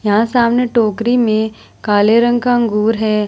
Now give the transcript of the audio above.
यहाँ सामने टोकरी में काले रंग का अंगूर है।